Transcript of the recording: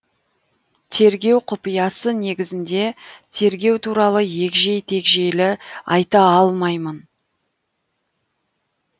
тергеу құпиясы негізінде тергеу туралы егжей тегжейлі айта алмаймын